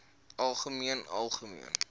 algemeen algemeen